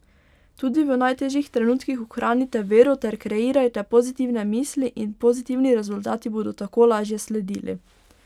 Tudi v najtežjih trenutkih ohranite vero ter kreirajte pozitivne misli in pozitivni rezultati bodo tako lažje sledili.